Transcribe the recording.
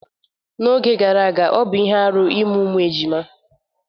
N'oge gara aga, ọ bụ ihe arụ ịmụ ụmụejima.